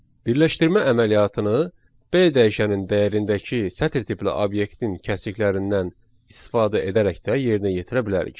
Birləşdirmə əməliyyatını B dəyişənin dəyərindəki sətr tipli obyektin kəsiklərindən istifadə edərək də yerinə yetirə bilərik.